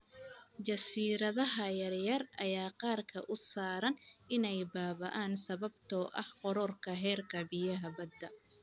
Jasiiradaha yar yar ayaa qarka u saaran inay baaba�aan sababtoo ah kororka heerka biyaha badda.